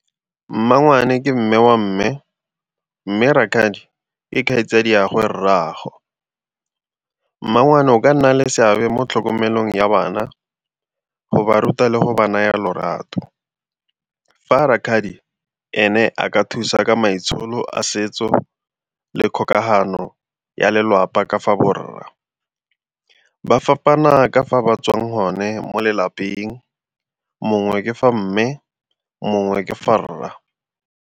Mmangwane ke mme wa mme, mme rakgadi ke kgaitsadiagwe rraago. Mmangwane o ka nna le seabe mo tlhokomelong ya bana go ba ruta le go ba naya lorato, fa rakgadi ene a ka thusa ka maitsholo a setso le kgokagano ya lelapa ka fa borra ba fapana ka fa ba tswang gone mo lelapeng, mongwe ke fa mme mongwe ke fa rra.